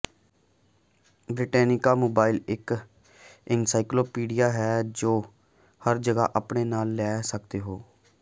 Britannica mobile ਇਕ encyclopedia ਹੈ ਜੋ ਤੁਸੀਂ ਹਰ ਜਗ੍ਹਾ ਆਪਣੇ ਨਾਲ ਲੈ ਸਕਦੇ ਹੋ